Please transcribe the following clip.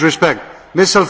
Please respect this.